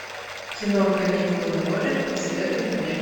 кино каникулы на море посоветуй мне